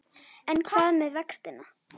En hvað með vextina?